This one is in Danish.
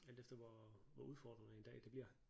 Alt efter hvor hvor udfordrende en dag det bliver